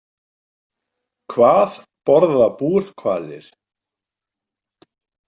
Hvað borða búrhvalir?